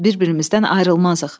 Bir-birimizdən ayrılmazıq.